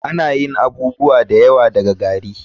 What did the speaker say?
Ana yin abubuwa da yawa daga gari.